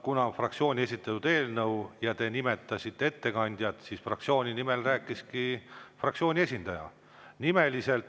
Kuna on fraktsiooni esitatud eelnõu ja te nimetasite ettekandjat, siis fraktsiooni nimel rääkiski fraktsiooni esindaja.